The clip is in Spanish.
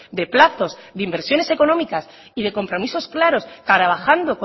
de plazos de inversiones económicas y de compromisos claros trabajando